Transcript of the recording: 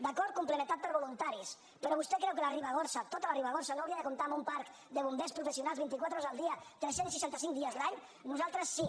d’acord complementat per voluntaris però vostè creu que la ribagorça tota la ribagorça no hauria de comptar amb un parc de bombers professionals vint i quatre hores al dia tres cents i seixanta cinc dies l’any nosaltres sí